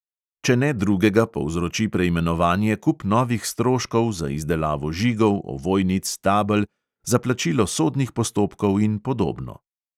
Če ne drugega, povzroči preimenovanje kup novih stroškov za izdelavo žigov, ovojnic, tabel, za plačilo sodnih postopkov in podobno.